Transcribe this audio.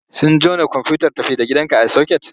Sun jona komfuyutar tafi da gidanka a soket?